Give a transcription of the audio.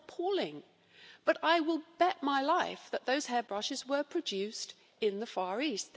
This is appalling, but I will bet my life that those hairbrushes were produced in the Far East.